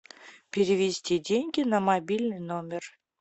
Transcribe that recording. перевести деньги на мобильный номер